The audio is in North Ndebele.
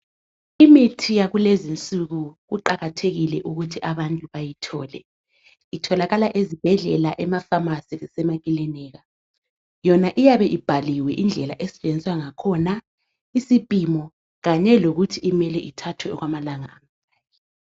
Imithi yakulezi insuku kuqakathekile ukuthi abantu bayithole itholakala ezibhedlela, emafamasi lemakilinika. Yona iyabe ibhaliwe indlela esetshenziswa nga khona isipimo kanye lokuthi ithathwe okwamalanga.